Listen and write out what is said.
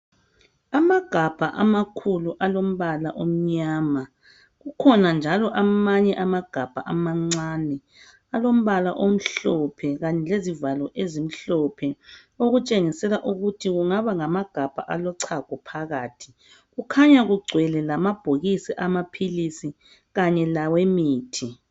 Amagabha amakhulu, alombala omnyama. Kukhona njalo amanye amagabha amancane, alombala omhlophe. Kanye lezivalo ezimhlophe. Okutshengisela ukuthi kungaba ngamagabha alochago phakathi. Kukhanya kugcwele lamabhokisi amaphilisi. Kanye lawemithi.